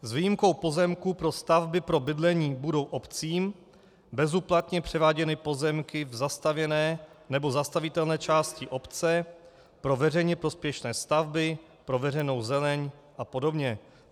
S výjimkou pozemků pro stavby pro bydlení budou obcím bezúplatně převáděny pozemky v zastavěné nebo zastavitelné části obce pro veřejně prospěšné stavby, pro veřejnou zeleň a podobně.